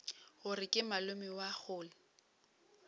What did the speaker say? gore ke malome wa kgole